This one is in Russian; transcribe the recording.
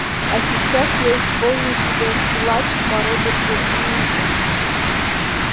а сейчас я исполню тебе плач по роберту эммету